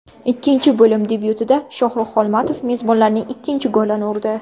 Ikkinchi bo‘lim debyutida Shohrux Xolmatov mezbonlarning ikkinchi golini urdi.